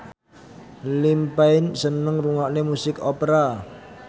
Liam Payne seneng ngrungokne musik opera